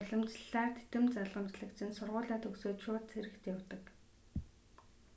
уламжлалаар титэм залгамжлагч нь сургуулиа төгсөөд шууд цэрэгт явдаг